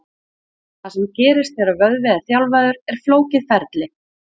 Það sem gerist þegar vöðvi er þjálfaður er flókið ferli.